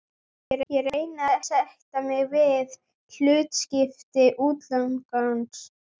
Ég reyni að sætta mig við hlutskipti útlagans.